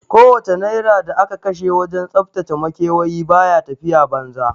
Ko wace naira da aka kashe wajen tsaftace makewayi baya tafiya banza